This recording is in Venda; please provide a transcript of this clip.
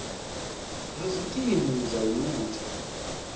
ha zwikimu zwa u notha